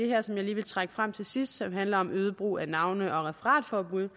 her som jeg lige vil trække frem til sidst og som handler om øget brug af navne og referatforbud